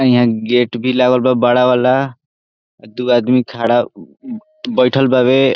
हीया गेट भी लागल बा बड़ा वाला दू आदमी खड़ा बैठएल बाड़े।